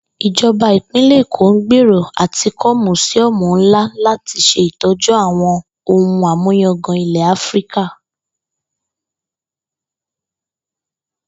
Ìjo̩ba Ìpínlè̩ Èkó ń gbèrò à ti kó̩ mùsíó̩mù ńlá láti s̩e ìtó̩jú àwo̩n ohun àmúyangàn ilè̩ Áfíríkà